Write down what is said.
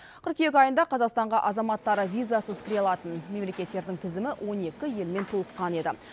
қыркүйек айында қазақстанға азаматтары визасыз кіре алатын мемлекеттердің тізімі он екі елмен толыққан еді